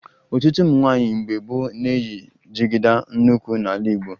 Ọtụtụ ụmụ nwaanyị mgbe gboo na-eyi jigida n'ukwu n'ala Igbo